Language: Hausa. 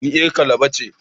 Ni yar Calabar ke